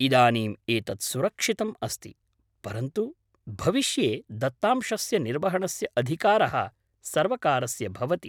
इदानीम् एतत् सुरक्षितम् अस्ति, परन्तु भविष्ये दत्तांशस्य निर्वहणस्य अधिकारः सर्वकारस्य भवति।